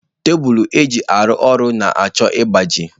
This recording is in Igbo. Tebụl eji arụ ọrụ na-achọ ịgbaji